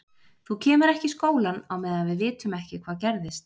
Þú kemur ekki í skólann á meðan við vitum ekki hvað gerðist.